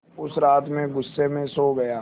उस रात मैं ग़ुस्से में सो गया